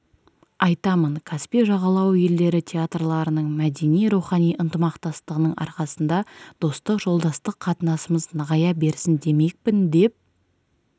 айтамын каспий жағалауы елдері театрларының мәдени-рухани ынтымақтастығының арқасында достық жолдастық қатынасымыз нығая берсін демекпін деп